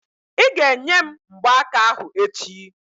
Ị́ ga-enye m mgbaaka ahụ echi!